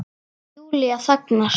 Júlía þagnar.